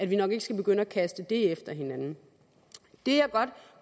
vi nok ikke skal begynde at kaste det efter hinanden det jeg godt